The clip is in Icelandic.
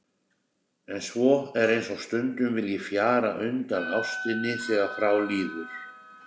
En svo er eins og stundum vilji fjara undan ástinni þegar frá líður.